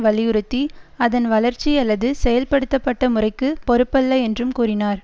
வலியுறுத்தி அதன் வளர்ச்சி அல்லது செயல்படுத்தப்பட்ட முறைக்கு பொறுப்பல்ல என்றும் கூறினார்